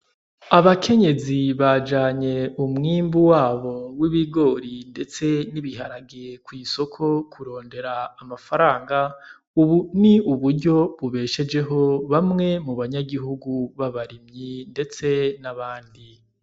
Abakenyezi bajanye umwimbu wabo w'ibigori ndetse n'ibiharagi ku isoko kurondera amafaranga, ubu ni uburyo bubeshejeho bamwe mu banyagihugu babarimyi ndetse n'abandi.